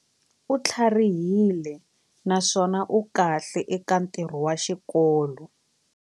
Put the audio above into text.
U tlharihile naswona u kahle eka ntirho wa xikolo.